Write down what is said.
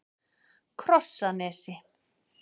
Krossanesi